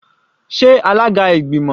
Sé alága ìgbìmọ̀?